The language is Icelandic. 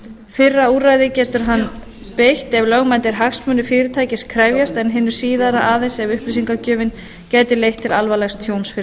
fyrra úrræðinu getur hann beitt ef lögmætir hagsmunir fyrirtækis krefjast en hinu síðara aðeins ef upplýsingagjöfin gæti leitt til alvarlegs tjóns fyrir